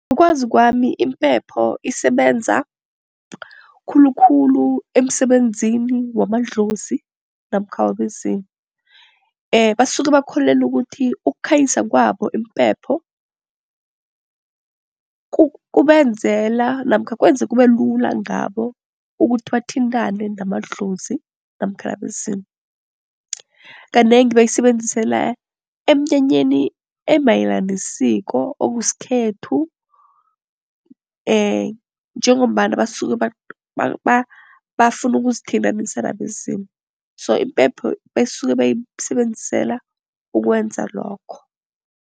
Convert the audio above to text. Ngokwazi kwami impepho isebenza khulukhulu emsebenzini wamadlozi namkha wabezimu. Basuke bakholelwa ukuthi ukukhanyisa kwabo impepho kubenzela namkha kwenza kube lula ngabo ukuthi bathintane namadlozi namkha nabezimu. Kanengi bayisebenzisela emnyanyeni emayelana nesiko, okusikhethu njengombana basuke bafuna ukuzithintanisa nabezimu, so impepho basuke bayisebenzisela ukwenza lokho.